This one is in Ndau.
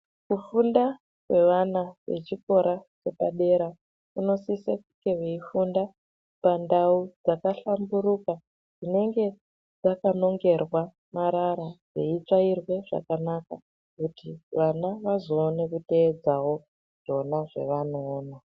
Kufunda kwevana vechikora zvepadera kunosisa kunge veifunda pandau dzakahlamburuka dzinenge dzakanongerwa marara dzeitsvairwa zvakanaka kuti vana vazoonawo kuteedzawo zvona zvavanokona.